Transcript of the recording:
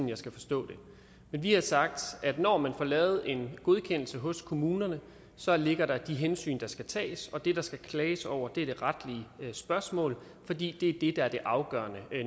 jeg skal forstå det men vi har sagt at når man får lavet en godkendelse hos kommunerne så ligger der de hensyn der skal tages og det der skal klages over er det retlige spørgsmål fordi det er det der er det afgørende